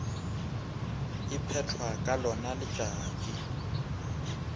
e phethwa ka lona letšatši